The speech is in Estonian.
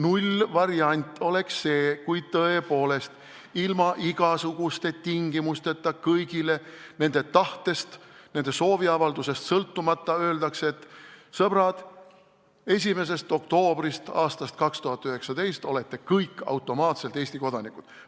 Nullvariant oleks see, kui tõepoolest ilma igasuguste tingimusteta kõigile nende tahtest, nende sooviavaldusest sõltumata öeldakse, et sõbrad, 1. oktoobrist 2019 olete kõik automaatselt Eesti kodanikud.